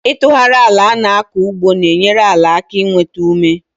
Itughari àlà ana-aku ugbo n'enyere àlà aka i nwétá ume